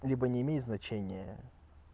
либо не имеет значения